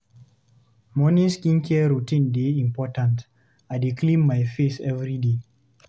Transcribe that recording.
Morning skincare routine dey important, I dey clean my face every day.